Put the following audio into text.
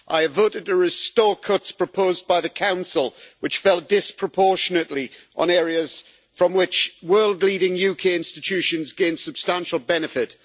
I have voted to restore cuts proposed by the Council, which fell disproportionately on areas from which world leading UK institutions gain substantial benefit.